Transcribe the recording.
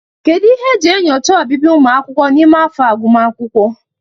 Kedu ihe e ji enyocha ọbịbịa ụmụ akwụkwọ n'ime afọ agụmakwụkwọ?